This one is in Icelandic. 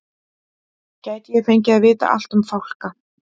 Gæti ég fengið að vita allt um fálka?